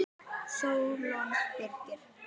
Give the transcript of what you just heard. Sólon Birkir.